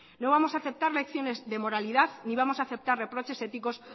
no vamos a aceptar lecciones de moralidad ni vamos a aceptar reproches éticos